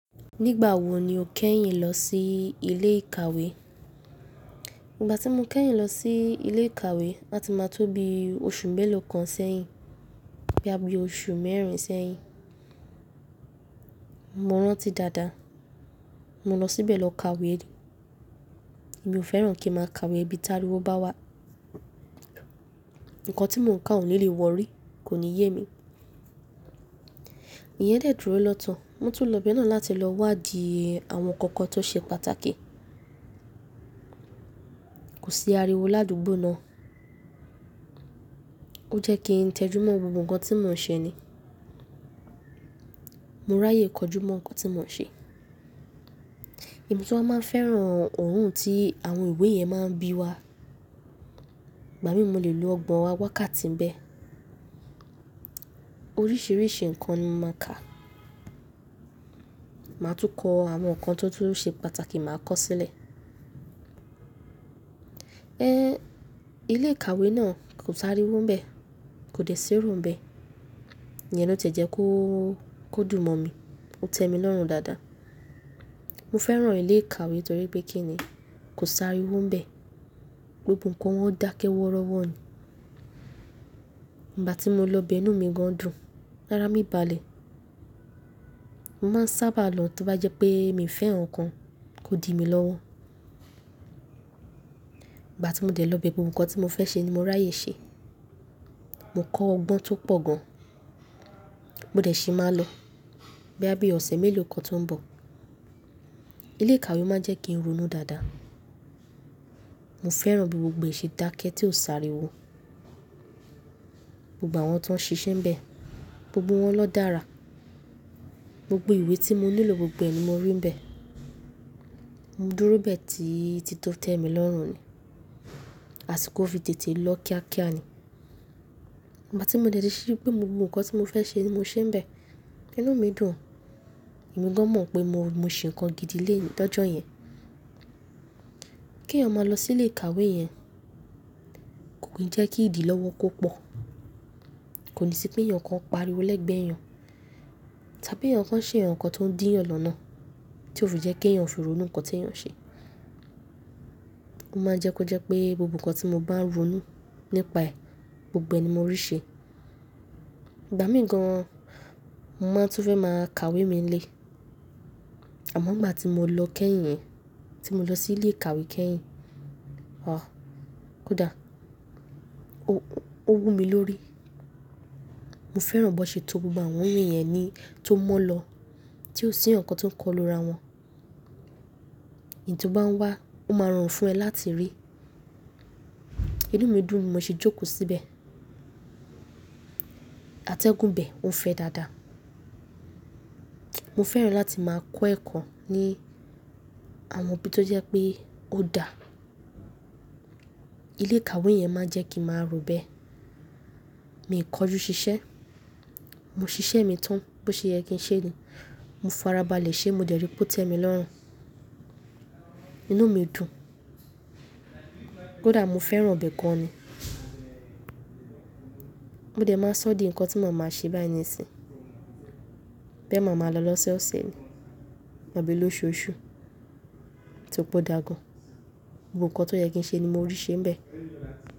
Nígbà wo ni o kẹ́yìn lọ sí ilé ìkàwé? Igbà tí mo kẹ́yìn lọ sí ilé ìkàwé, áti máa tóbi oṣù mélòó kan sẹ́yìn, bí i oṣù mẹ́rin sẹ́yìn. Mo rántí dáadáa. Mo lọ síbẹ̀ lọ ka ìwé. Èmi ò fẹ́ràn kí ń máa ka ìwé nibi tá rí wo bá wà. Ǹkan tí mò ń kà ò ní lè wọ́rí, kò ní yé mi. Èèyen de dúró lọ to Mo tún lọ bẹ́ẹ̀ náà láti lọ wádìí àwọn ǹkan kan tó ṣe pàtàkì. Kò sí ariwo ládùgbò náà. Ó jẹ́ kí ń tẹjúmọ́ gbogbo ǹkan tí mò ń ṣe ni. Mo ráyè kojúmọ́ ǹkan tí mò ń ṣe. Emi tun wa máa ń fẹ́ràn òórùn tí àwọn ìwé yẹn máa ń bíi wa. Ìgbà mí mo lè lo ọgbọ́n wá ká ti ń bẹ. Oríṣìíríṣìí ǹkan ni mo máa ń ka. Màá tún kọ àwọn ǹkan tó ṣe pàtàkì máa kọ sílẹ̀. Ẹ n, ilé ìkàwé náà kò sáré wo ń bẹ, kò dẹ̀ sé ró ń bẹ. Ìyẹn ló tie jẹ́ kó dùn mọ̀ mí. Ó tẹ mi lọ́run dáadáa. Mo fẹ́ràn ilé ìkàwé torí pé kí ni, kò sári wo ń bẹ. Gbogbo ǹkan wọ́n dákẹ́ wọ́rọ́ wọ́ ni. Nígbà tí mo lọ bẹ inú mi gan dùn, lára mi balẹ̀. Mo máa ń sábà lọ tí ó bá jẹ́ pé mi fẹ́ ǹkan, kó di mi lọ́wọ́. Igbà tí mo dẹ̀ lọ bẹ gbogbo ǹkan tí mo fẹ́ ṣe ni mo ráyè ṣe. Mo kọ́ ọgbọ́n tó pọ̀ gan. Mo dẹ̀ ṣì máa lọ boya bí ọ̀sẹ̀ mélòó kan tó ń bọ̀. Ilé ìkàwé máa ń jẹ́ kí n ronú dáadáa. Mo fẹ́ràn bí gbogbo ǹkan ṣe dákẹ́ tí ó sári wo. Gbogbo àwọn tó ń ṣiṣẹ́ ń bẹ, gbogbo wọn ló dára. Gbogbo ìwé tí mo nílò gbogbo ẹ̀ ni mo rí ń bẹ. Mo dúró bẹ́ẹ̀ títí tó tẹ́ mi lọ́run ni, àsi kó fi tètè lọ kíákíá ni. Igbà tí mo dẹ̀ ti sepé gbogbo ǹkan tí mo fẹ́ ṣe ni mo ṣe ń bẹ, inú mi dùn. Emi gan mọ̀ pé mò ń ṣe ǹkan gidi ni ojọ́ yẹn. Kí èèyàn máa lọ sí ilé ìkàwé yẹn, kò kí ń jẹ́ kí ìdí lọ́wọ́ kó pọ̀. Kò ní sí pé èèyàn kan ó paríwo lẹ́gbẹ́ èèyàn, tábí èèyàn kan ṣe ǹkan tó ń dí ẹ̀yan lọ́nà, tí ó fi jẹ́ kí èèyàn fi rònù ǹkan tí èèyàn ṣe. Mo máa ń jẹ́ kó jẹ́ pé gbogbo ǹkan tí mo bá ń ronú nípa ẹ̀, gbogbo ẹ̀ ni mo rí ṣe. Ìgbà mí gan, mo máa tún fẹ́ máa ka ìwé mi nílé. Àmọ́ n gbá ti mo lọ kẹ́yìn yẹn, tí mo lọ sí ilé ìkàwé kẹ́yìn, àh! Kódà ó wú mi lórí. Mo fẹ́ràn bó ṣe to gbogbo àwọn iwe yẹn ni tó mọ́ lọ, tí ò sí ǹkan tó ń kọlu ra wọn. Èyí tí ó bá ń wá, ó máa ń rorun fún ẹ láti rí. Inú mi dùn, mo sì jókòó síbẹ̀. Atẹ́gùn bẹ ò ń fẹ́ dáadáa. Mo fẹ́ràn láti máa kọ́ ẹ̀kọ́ ní àwọn ibi tó jẹ́ pé ó dà. Ilé ìkàwé yẹn máa ń jẹ́ kí màá robẹ́. Mi ò kọjú ṣiṣẹ́. Mo ṣiṣẹ́ mi tán bó ṣe yẹ kí ń ṣe ni. Mo farabalẹ̀ ṣe, mo dẹ̀ ri pé ó tẹ́ mi lọ́run. Inú mi dùn. Kódà mo fẹ́ràn bẹ́ẹ̀ gan ni. Mo dẹ̀ máa ṣọ́ di ǹkan tí ma máa ń ṣe báyìí nì sin. Bẹ́ẹ̀ màá máa lọ lọ́so ọ̀sẹ̀ abí lóṣooṣù tori pọ̀ dà gan. Gbogbo ǹkan tó yẹ kí ń ṣe ni mo rí ṣe ń bẹ.